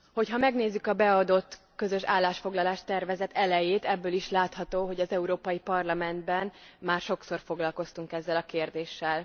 Ha megnézzük a beadott közös állásfoglalás tervezet elejét, abból is látható, hogy az Európai Parlamentben már sokszor foglalkoztunk ezzel a kérdéssel.